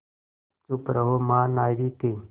चुप रहो महानाविक